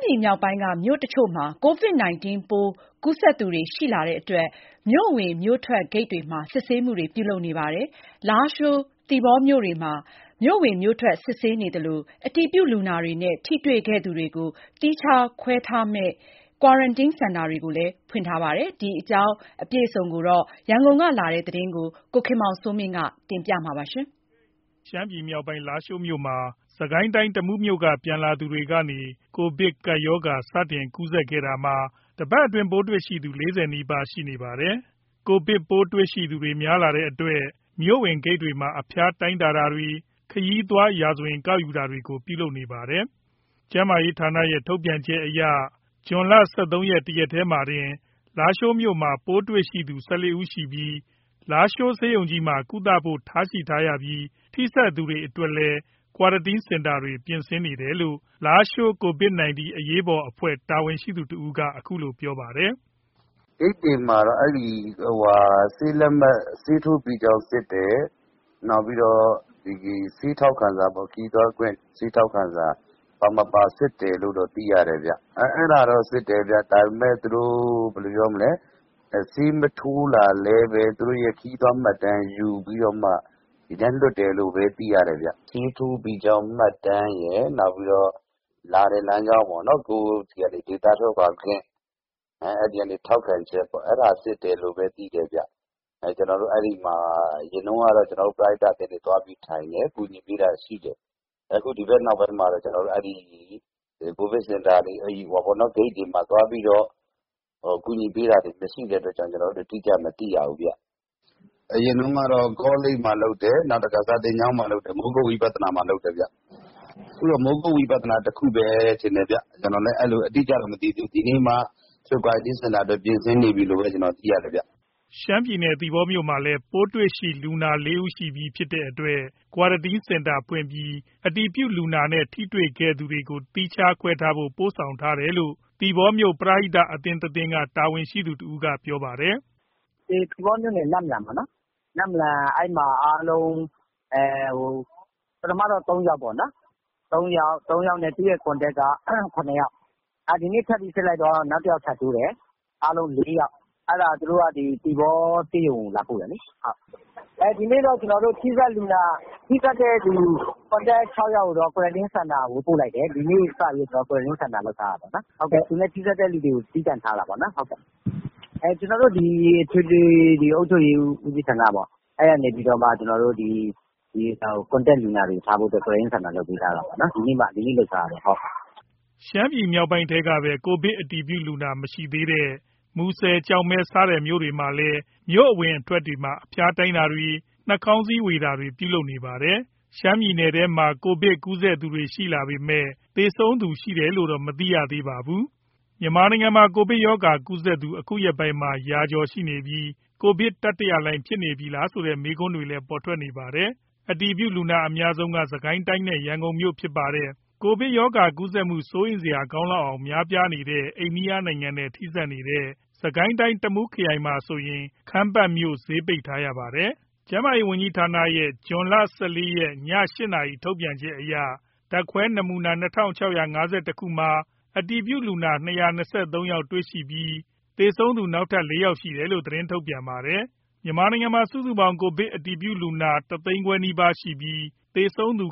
ပြည်နယ်မြောက်ပိုင်းက မြို့အချို့မှာ COVID-19 ပိုးကူးစက်သူတွေ ရှိလာတဲ့အတွက် မြို့ဝင် မြို့ထွက်ဂိတ်တွေမှာ စစ်ဆေးမှုတွေ ပြုလုပ်နေပြုလုပ်နေပါတယ်။ လာရှိုးမြို့နဲ့ သီပေါမြို့တွေမှာ မြို့ဝင်မြို့ထွက် စစ်ဆေးသလို၊ အတည်ပြုလူနာတွေနဲ့ ထိတေ့ွခဲ့သူတွေကိုသီးခြားခွဲထားမယ့် ကွာရန်တင်းစင်တာတွေကိုလည်းဖွင့်ထားပါတယ်။ ဒီအကြောင်း အပြည့်အစုံ ရန်ကုန်ကလာတဲ့ သတင်းကို ကိုခင်မောင်စိုးမင်း ကပြောပြပါမယ်။ ရှမ်းပြည်မြောက်ပိုင်း လားရှိုးမြို့မှာ စစ်ကိုင်းတိုင်း တမူးမြို့က ပြန်လာသူတွေကနေ ကိုဗစ်ကပ်ရောဂါ စတင်ကူးစက်ခဲ့တာမှာ တပတ်အတွင်း ပိုးတွေ့ရှိသူ ၄၀ နီးပါးရှိနေပါတယ်။ ကိုဗစ် ပိုးတွေ့ရှိသူတွေ များလာတဲ့အတွက် မြို့ဝင်ဂိတ်တွေမှာ အဖျားတိုင်းတာတွေ ခရီးသွား ရာဇဝင် ကောက်ယူတာတွေကို ပြုလုပ်နေပါတယ်။ ကျန်းမာရေးဌာနရဲ့ ထုတ်ပြန်ချက်အရ ဇွန် ၁၃ ရက် တရက်တည်းမှာတင် လားရှိုးမြို့မှာ ပိုးတွေ့ရှိသူ ၁၄ ဦးရှိပြီး လားရှိုးဆေးရုံကြီးမှာ ကုသဖို့ ထားရှိထားရပြီး ထိစပ်သူတွေအတွက်လည်း ကွာရတင်း စင်တာတွေ ပြင်ဆင်နေတယ်လို့ လားရှိုး COVID- 19 အရေးပေါ် အဖွဲ့ တာဝန်ရှိသူ တဦးက အခုလိုပြောပါတယ်။ “ဂိတ်တွေမှာ ဆေးထိုးပြီးကြောင်းစစ်တယ်။ နောက်ပြီးတော့ ခရီးသွားထောက်ခံစာ ပါမပါ စစ်တယ်လို့တော့ သိရတယ်။ စစ်တာတော့ စစ်တယ်။ ဆေးမထိုးလာလည်းဘဲ သူတို့ရဲ့ ခရီးသွားမှတ်တမ်းယူပြီးတော့ ဒီတိုင်းလွှတ်တယ်လို့ပဲ သိရတယ်။ ဆေးထိုးပြီးသားမှတ်တမ်းရယ်။ လာတဲ့လမ်းကြောင်း ကိုယ့်ဆီးက ဒေသထွက်ခွါခွင့် အဲ့ဒီကနေ ထောက်ခံချက်ပေါ့။ အဲ့ဒါစစ်တယ်လို့ပဲသိတယ်။ အရင်တုန်းကတော့ ကျွန်တော်တို့ ပရဟိတ အသင်းတွေ သွားပြီးထိုင်တယ် ကူညီပေးတာရှိတယ်။ အခုဒီဘက်နောက်ပိုင်းမှာ ကိုဗစ်စင်တာတွေ ဂိတ်တွေမှာ သွားပြီး ကူညီပေးတာမရှိတော့ ကျွန်တော်တို့ အတိကျမသိရဘူး။ အရင်တုန်းကတော့ ကောလိပ်မှာ လုပ်တယ်။ မိုးကုတ်ဝိပသာနာမှာလုပ်တယ်။ အခုတော့ မိုးကုတ်ဝိပသာနာမှာပဲ ကွာရတင်းစင်တာအတွက် ပြင်ဆင်နေပြီလို့သိရတယ်။” ရှမ်းပြည်နယ် သီပေါမြို့မှာလည်း ပိုးတွေ့လူနာ ၄ ဦးရှိပြီ ဖြစ်တဲ့အတွက် ကွာရတင်း စင်တာ ဖွင့်ပြီး အတည်ပြုလူနာနဲ့ ထိတေ့ွခဲ့သူတွေကို သီးခြားခွဲထားဖို့ ပို့ဆောင်ထားတယ်လို့ သီပေါမြို့ ပရိဟိတ အသင်းတသင်းက တာဝန်ရှိသူ တဦးက ပြောပါတယ်။ “သီပေါမြို့နယ် နမ့်လမ် ပထမတော့ ၃ ယောက်ပေါ့နော်။ သူ့ရဲ့ Contact က ၇ ယောက် ဒီနေ့ ထပ်ပြီး စစ်လိုက်တော့ နောက်တယောက် ထပ်တိုးတယ်။ အားလုံး ၄ ယောက် သူတို့က သီပေါ ဆေးရုံကို လာပို့တယ်လေ။ ဒီနေ့တော့ ထိစပ်သူ ၆ ယောက်ကိုတော့ ကွာရတင်း စင်တာကို ပို့လိုက်တယ်။ ဒီနေ့စပြီး ကွာရတင်းစင်တာ လုပ်ထားတာပေါ့နော်။ သူနဲ့ထိစပ်တဲ့သူတွေကို သီးသန့်ထားတာပေါ့။ ကျွန်တော်တို့ အထွေ အုပ်ချုပ်ရေး ဦးစီးဌာနက ကွာရတင်းစင်တာ လုပ်ထားပေးတာ။ ဒီနေ့မှ လုပ်ထားတာ။” ရှမ်းပြည်နယ်မြောက်ပိုင်းထဲကပဲ ကိုဗစ်အတည်ပြုလူနာ မရှိသေးတဲ့ မူဆယ် ကျောက်မဲ စတဲ့မြို့တွေမှာလည်း မြို့အဝင်တွေမှာ အဖျားတိုင်းတာတွေ နှာခေါင်းစည်းဝေတာတွေ ပြုလုပ်နေပါတယ်။ ရှမ်းပြည်နယ်ထဲမှာ ကိုဗစ်ကူးစက်သူတွေရှိလာပေမယ့် သေဆုံးသူ ရှိတယ်လို့တော့ မသိရသေးပါဘူး။ မြန်မာနိုင်ငံမှာ ကိုဗစ်ရောဂါကူးစက်သူ အခုရက်ပိုင်းမှာ ရာကျော်ရှိနေပြီး ကိုဗစ်တတိယလှိုင်းဖြစ်နေပြီလားဆိုတဲ့ မေးခွန်းတွေလည်း ထွက်ပေါ်နေပါတယ်။ အတည်ပြုလူနာအများဆုံးက စစ်ကိုင်းတိုင်းနဲ့ ရန်ကုန်မြို့ဖြစ်ပါတယ်။ ကိုဗစ်ရောဂါကူးစက်မှု စိုးရိမ်စရာကောင်းလောက်အောင် များနေတဲ့ အိန္ဒိယနိုင်ငံနဲ့ ထိဆက်နေတဲ့ စစ်ကိုင်းတိုင်း တမူးခရိုင်မှာဆိုရင် ခမ်းပတ်မြို့ဈေးပိတ်ထားရပါတယ်။ ကျန်းမာရေးဝန်ကြီးဌာနရဲ့ ဇွန် ၁၄ ရက် ည ၈ နာရီ ထုတ်ပြန်ချက်အရ ဓါတ်ခွဲနာမူနာ ၂၆၅၁ ခုမှာ အတည်ပြုလုနာ ၂၂၃ ယောက်တေ့ွရှိပြီး သေဆုံးသူနောက်ထပ် ၄ ယောက်ရှိတယ်လို့ သတင်းထုတ်ပြန်ပါတယ်။ မြန်မာနိုင်ငံမှာ စုစုပေါင်း ကိုဗစ်အတည်ပြုလူနာ စုစုပေါင်း ၁ သိန်းခွဲနီးပါးရှိနေပြီး သေဆုံးသူ